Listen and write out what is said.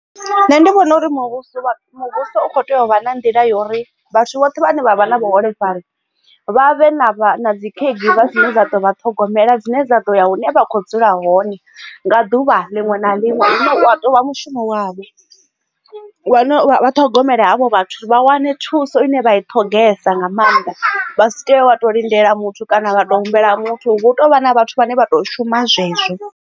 Nṋe ndi vhona uri muvhuso muvhuso u kho tea u vha na nḓila yori vhathu vhoṱhe vhane vha vha na vhuholefhali vha vhe na dzi caregiver dzine dza ḓo vha ṱhogomela dzine dza ḓo ya hune vha kho dzula hone nga ḓuvha liṅwe na liṅwe hune wa tou vha mushumo wavho, wa ṱhogomele havho vhathu vha wane thuso ine vha i ṱhogesa nga maanḓa vha si tea wa to lindela muthu kana vha to humbela muthu hu tovha na vhathu vhane vha to shuma zwezwo.